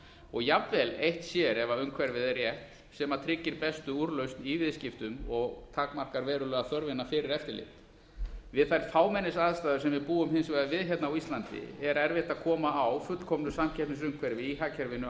og jafnvel eitt sér ef umhverfið er rétt sem tryggir bestu úrlausn í viðskiptum og takmarkar verulega þörfina fyrir eftirlit við þær fámennisaðstæður sem við búum hins vegar við hérna á íslandi er erfitt að koma á fullkomnu samkeppnisumhverfi í hagkerfinu